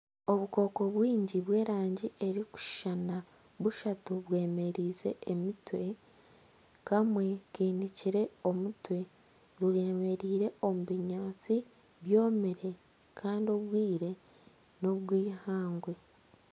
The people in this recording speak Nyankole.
Obukooko bwingi bw'erangi erikushushana bushatu bwemereize emitwe Kamwe kinikire omutwe bwemereire omu binyaantsi byomire Kandi obwire nobw'eihangwe.